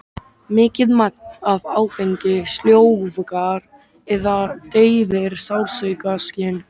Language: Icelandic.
Mikið magn af áfengi sljóvgar eða deyfir sársaukaskyn.